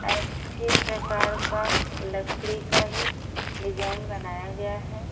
अच्छे प्रकार का लकड़ी का ही डिजाइन बनाया गया है।